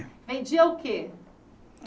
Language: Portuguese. Vendia o quê?